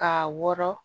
Ka wɔrɔn